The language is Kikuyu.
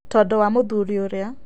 Tondũ wa mũthuri ũrĩa.